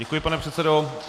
Děkuji, pane předsedo.